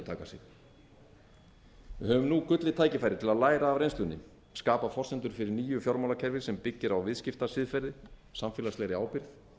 við höfum nú gullið tækifæri til að læra af reynslunni skapa forsendur fyrir nýju fjármálakerfi sem byggir á viðskiptasiðferði samfélagslegri ábyrgð